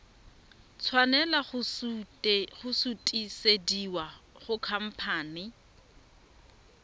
tshwanela go sutisediwa go khamphane